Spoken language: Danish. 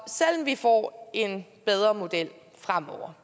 vi får en bedre model fremover